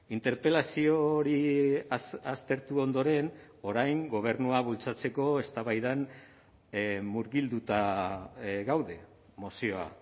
interpelazio hori aztertu ondoren orain gobernua bultzatzeko eztabaidan murgilduta gaude mozioa